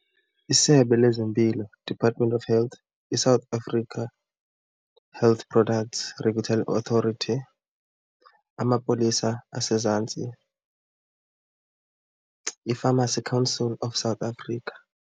ISebe lezeMpilo, Department of Health, iSouth African Health Products Regulatory Authority, amapolisa asezantsi, iPharmacy Council of South Africa.